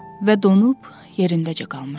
Və donub yerindəcə qalmışdı.